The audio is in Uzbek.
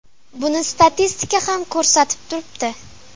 Buni statistika ham ko‘rsatib turibdi.